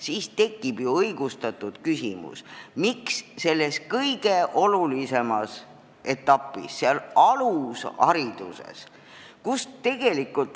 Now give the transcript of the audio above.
Nii tekib õigustatud küsimus, miks selles väga olulises etapis on vanema rahakulu nii suur.